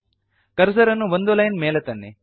cursor ಅನ್ನು ಒಂದು line ಮೇಲೆ ತನ್ನಿ